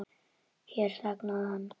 Hér þagnaði hann.